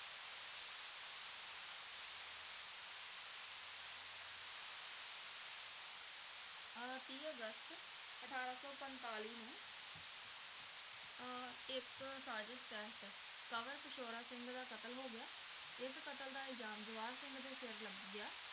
ਅਹ ਤੀਹ ਅਗਸਤ ਅਠਾਰਾਂ ਸੌ ਪੰਤਾਲੀ ਨੂੰ ਅਹ ਇੱਕ ਸਾਜ਼ਸ਼ ਤਹਿਤ ਕੰਵਰ ਪਿਸ਼ੌਰਾ ਸਿੰਘ ਦਾ ਕਤਲ ਹੋ ਗਿਆ, ਇਸ ਕਤਲ ਦਾ ਇਲਜ਼ਾਮ ਜਵਾਹਰ ਸਿੰਘ ਦੇ ਸਿਰ ਲੱਗ ਗਿਆ।